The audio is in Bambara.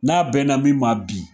N'a bɛnna min ma bi